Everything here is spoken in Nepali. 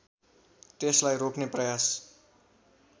त्यसलाई रोक्ने प्रयास